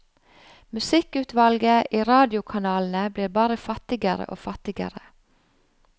Musikkutvalget i radiokanalene blir bare fattigere og fattigere.